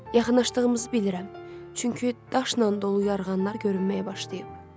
Yaxınlaşdığımızı bilirəm, çünki daşla dolu yarğanlar görünməyə başlayıb.